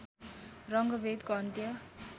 रङ्गभेदको अन्त्य